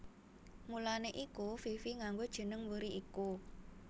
Mulané iku Fifi nganggo jeneng mburi iku